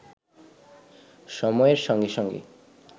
সময়ের সঙ্গে সঙ্গে